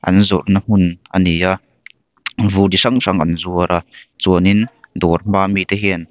an zawrhna hmun a ni a vur chi hrang hrang an zuar a chuanin dawr hma mi te hian--